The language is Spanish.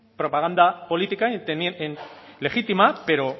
propaganda política legítima pero